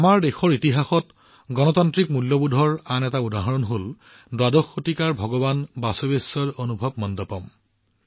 আমাৰ দেশৰ ইতিহাসত গণতান্ত্ৰিক মূল্যবোধৰ আন এটা উদাহৰণ হল দ্বাদশ শতিকাৰ ভগৱান বাসবেশ্বৰৰ অনুভৱ মণ্ডপম